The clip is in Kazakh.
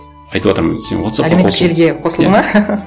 айтыватырмын сен вотсаппқа қосыл әлеуметтік желіге қосылды ма